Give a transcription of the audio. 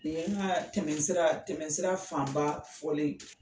Ni ye an ka tɛmɛsira tɛmɛsira faanba fɔlen